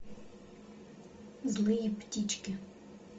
злые птички